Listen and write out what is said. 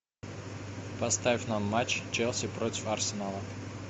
поставь нам матч челси против арсенала